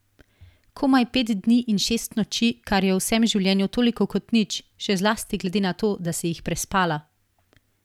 Komaj pet dni in šest noči, kar je v vsem življenju toliko kot nič, še zlasti glede na to, da si jih prespala.